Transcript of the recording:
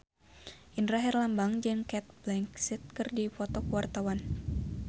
Indra Herlambang jeung Cate Blanchett keur dipoto ku wartawan